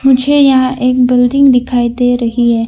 मुझे यहां एक बिल्डिंग दिखाई दे रही है।